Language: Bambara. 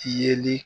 Yeli